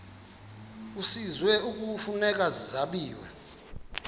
kwisizwe kufuneka zabiwe